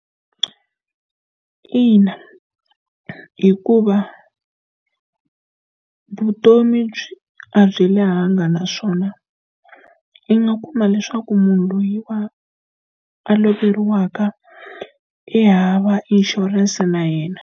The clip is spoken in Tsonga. Ina, hikuva vutomi a a byi lehenga naswona, i nga kuma leswaku munhu loyiwa a loveriwaka i hava inshurense na yena.